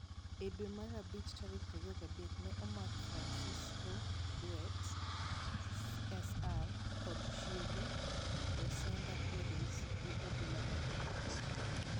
E dwe mar abich tarik 23, ne omak Francisco Duarte Sr. kod chiege, Rosenda Perez, gi obila mag Immigration.